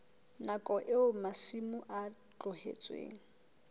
nakong eo masimo a tlohetsweng